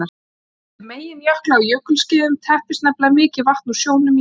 Við myndun meginjökla á jökulskeiðum teppist nefnilega mikið vatn úr sjónum í jöklum.